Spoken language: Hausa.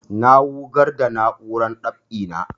Na wugar da na'urar dab'i na